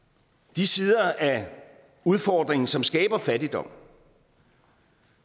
de sider af udfordringen som skaber fattigdom